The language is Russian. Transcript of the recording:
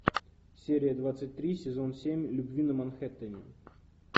серия двадцать три сезон семь любви на манхэттене